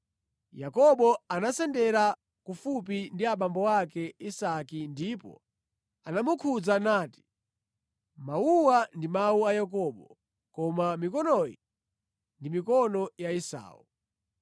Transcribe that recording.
Yakobo anasendera kufupi ndi abambo ake Isake ndipo anamukhudza nati, “Mawuwa ndi mawu a Yakobo koma mikonoyi ndi mikono ya Esau.”